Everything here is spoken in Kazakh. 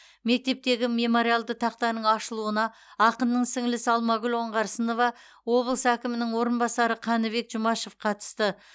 мектептегі мемориалды тақтаның ашылуына ақынның сіңлісі алмагүл оңарсынова облыс әкімінің орынбасары қаныбек жұмашев қатысты